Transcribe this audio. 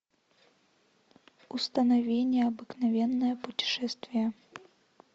установи необыкновенное путешествие